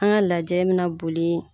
An ka lajɛ bɛ na boli